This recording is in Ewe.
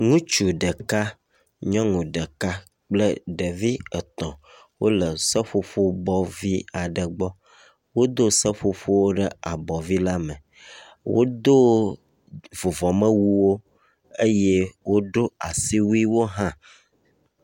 Ŋutsu ɖeka, nyɔnu ɖeka kple ɖevia etɔ̃ wole seƒoƒobɔ vi aɖe gbɔ. Wodo seƒoƒowo ɖe abɔ vi la me. Wodo vuvɔmewuwo eye woɖo asiwuiwo hã.